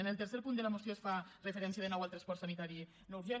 en el tercer punt de la moció es fa referència de nou al transport sanitari no urgent